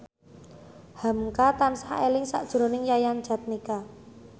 hamka tansah eling sakjroning Yayan Jatnika